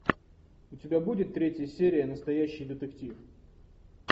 у тебя будет третья серия настоящий детектив